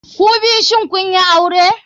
Kubiyu shin kunyi aure?